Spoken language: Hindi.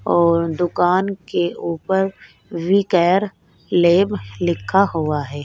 और दुकान के ऊपर वी केयर लैब लिखा हुआ है।